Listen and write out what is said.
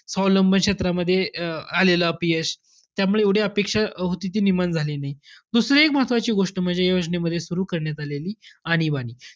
स्वावलंब क्षेत्रामध्ये अं आलेलं अपयश. त्यामुळे एवढी अपेक्षा होती ती निर्माण झाली नाई. दुसरं एक महत्वाची गोष्ट म्हणजे, या योजनेमध्ये सुरु करण्यात आलेली आणीबाणी.